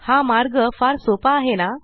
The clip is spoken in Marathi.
हा मार्ग फार सोपा आहे ना